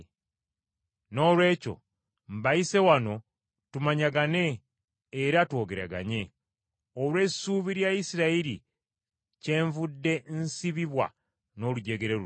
Noolwekyo mbayise wano tumanyagane era twogeraganye. Olw’essuubi lya Isirayiri, kyenvudde nsibibwa n’olujegere luno.”